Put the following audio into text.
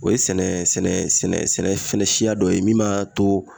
O ye sɛnɛ sɛnɛ sɛnɛ fɛnɛ siya dɔ ye min m'a to